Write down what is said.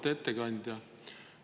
Auväärt ettekandja!